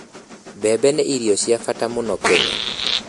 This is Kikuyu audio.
Mbembe nĩ irio cia bata mũno Kenya